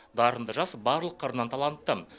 дарынды жас барлық қырынан талантты